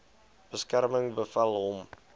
beskerming bevel hom